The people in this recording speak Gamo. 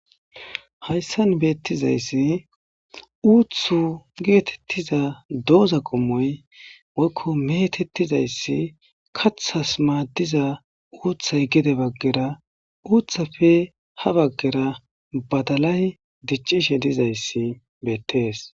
hayssan beettizayssi uuthu geetettiza dooza qommoy woykko metettizayssi kathas maaddiza uuththay gede baggera uuthafe ha baggera badalay diccishe dizayssi beettees